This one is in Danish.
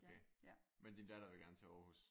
Okay. Men din datter vil gerne til Aarhus?